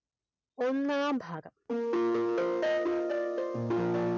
ഒന്നാം ഭാഗം